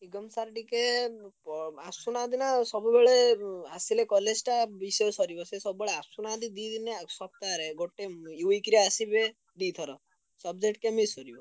ନିଗମ sir ଟିକେ ~ପ ଆସୁନାହାନ୍ତି ନା ସବୁବେଳେ ଉଁ ଆସିଲେ କଲେ ସିନା ବିଷୟ ସରିବ। ସେ ସବୁବେଳେ ଆସୁନାହାନ୍ତି ଦି ଦିନି ~ଆ ସପ୍ତାହରେ ଗୋଟେ ଉଁ week ରେ ଆସିବେ ଦି ଥର। subject କେମିତି ସରିବ।